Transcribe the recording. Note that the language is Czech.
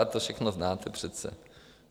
A to všechno znáte přece.